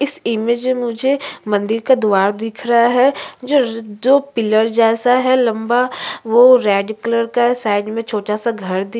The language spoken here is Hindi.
इस इमेज में मुझे एक मंदिर का दुआर दिख रहा है जो पिलर जसे है लम्बा वो रेड कलर का है साइड में छोटा सा घर दिख --